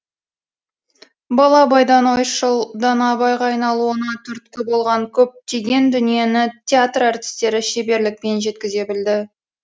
бала абайдан ойшыл дана абайға айналуына түрткі болған көптеген дүниені театр әртістері шеберлікпен жеткізе білді